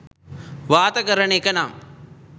වාත කරන එකනම්